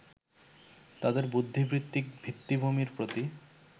তাঁদের বুদ্ধিবৃত্তিক ভিত্তিভূমির প্রতি